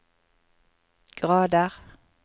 grader